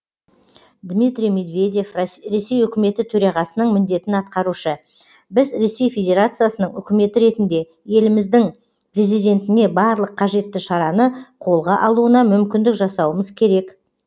дмитрий медведев ресей үкіметі төрағасының міндетін атқарушы біз ресей федерациясының үкіметі ретінде еліміздің президентіне барлық қажетті шараны қолға алуына мүмкіндік жасауымыз керек